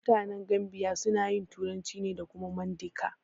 Mutanen Gambiya suna yin turanci da kuma Mandinka.